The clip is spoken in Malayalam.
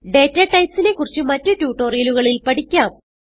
ഡാറ്റ ടൈപ്സ് നെ കുറിച്ച് മറ്റ് ട്യൂട്ടോറിയലുകളിൽ പഠിക്കാം